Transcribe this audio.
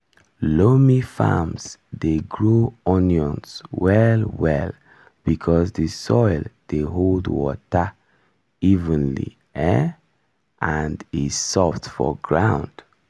loamy farms dey grow onions well well because di soil dey hold water evenly um and e soft for ground.